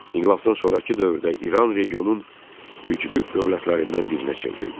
İnqilabdan sonrakı dövrdə İran regionun güclü dövlətlərindən birinə çevrildi.